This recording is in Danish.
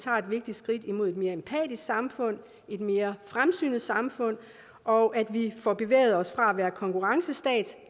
vigtigt skridt imod et mere empatisk samfund et mere fremsynet samfund og at vi får bevæget os fra at være en konkurrencestat